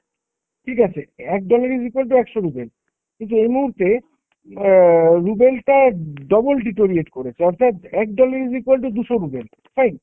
ঠিক আছে? এক dollar is equal to একশো ruble, কিন্তু এই মুহূর্তে অ্যাঁ ruble টা double deteriorate করেছে। অর্থাৎ, এক dollar is equal to দুশো ruble, fine?